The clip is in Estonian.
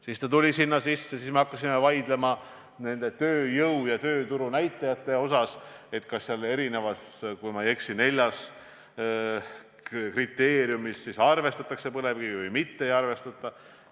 Siis sai see sinna sisse pandud ning me hakkasime vaidlema tööjõu- ja tööturunäitajate üle, et kas – kui ma ei eksi – neljas kriteeriumis arvestatakse põlevkivi või ei arvestata.